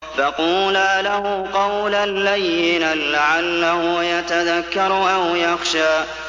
فَقُولَا لَهُ قَوْلًا لَّيِّنًا لَّعَلَّهُ يَتَذَكَّرُ أَوْ يَخْشَىٰ